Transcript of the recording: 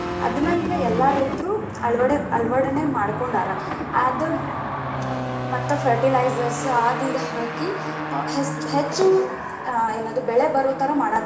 ಅದನ್ನ ಈಗ ಎಲ್ಲಾ ರೈತರು ಅಳವಡೆ~ ಅಳವಡನೆ ಮಾಡ್ಕೊಂಡಾರ ಅದ, ಮತ್ತ fertilizers ಆದ ಇದ ಹಾಕಿ ಹೆಚ್ಚ್ ಹೆಚ್ಚು ಏನದು ಬೆಳೆ ಬರುತರ ಮಾಡಾತರ.